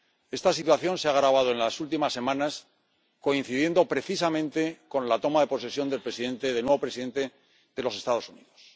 Esta situación se ha agravado en las últimas semanas, coincidiendo precisamente con la toma de posesión del presidente, del nuevo presidente de los Estados Unidos.